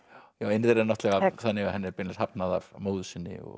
ein þeirra er þannig að henni er beinlínis hafnað af móður sinni og